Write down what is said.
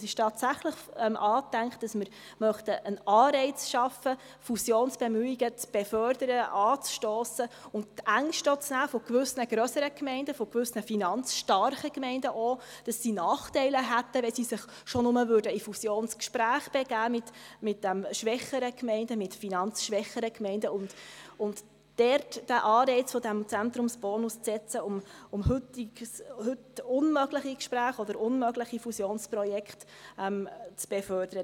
Es ist tatsächlich angedacht, dass wir einen Anreiz schaffen möchten, Fusionsbemühungen zu befördern, anzustossen und auch gewissen grösseren, finanzstarken Gemeinden die Ängste zu nehmen, dass sie auch Nachteile hätten, wenn sie sich schon nur in Fusionsgespräche mit finanzschwächeren Gemeinden begeben, und dort den Anreiz dieses Zentrumsbonus zu setzen, um heute unmögliche Gespräche oder unmögliche Fusionsprojekte zu befördern.